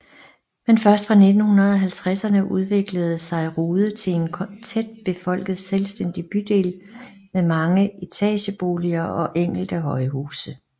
Men først fra 1950ern udviklede sig Rude til en tæt befolket selvstændig bydel med mange etabeboliger og enkelte højhuse